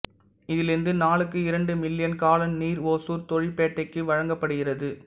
இதிலிருந்து நாளுக்கு இரண்டு மில்லியன் காலன் நீர் ஒசூர் தொழிற்பேட்டைக்கு வழங்கப்படுகிறது